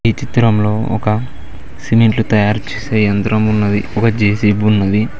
ఈ చిత్రంలో ఒక సిమెంట్లు తయారు చేసే ఎంత్రం ఉన్నది ఒక జే_సి_బి ఉన్నది.